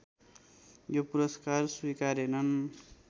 यो पुरस्कार स्वीकारेनन्